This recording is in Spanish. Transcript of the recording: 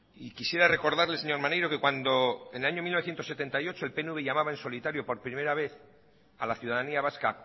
y quisiera recordarle señor maneiro que cuando en el año mil novecientos setenta y ocho el pnv llamaba en solitario por primera vez a la ciudadanía vasca